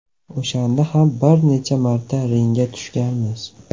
O‘shanda ham bir necha marta ringga tushganmiz.